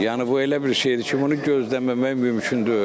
Yəni bu elə bir şeydir ki, bunu gözləməmək mümkün deyil.